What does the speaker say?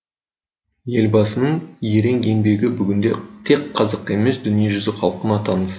елбасының ерен еңбегі бүгінде тек қазаққа емес дүниежүзі халқына таныс